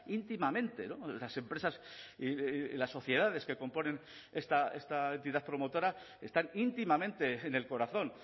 íntimamente las empresas y las sociedades que componen esta entidad promotora están íntimamente en el corazón